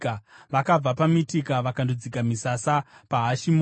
Vakabva paMitika vakandodzika misasa paHashimona.